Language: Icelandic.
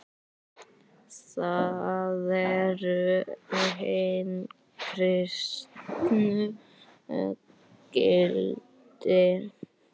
Það eru hin kristnu gildi.